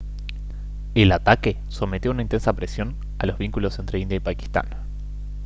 el ataque sometió a una intensa presión a los vínculos entre india y pakistán